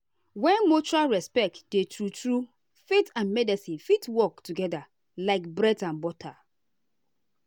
when mutual respect dey true true faith and medicine fit work together like bread and butter.